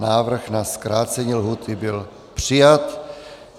Návrh na zkrácení lhůty byl přijat.